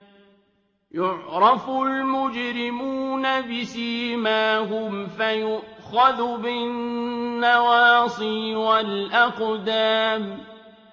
يُعْرَفُ الْمُجْرِمُونَ بِسِيمَاهُمْ فَيُؤْخَذُ بِالنَّوَاصِي وَالْأَقْدَامِ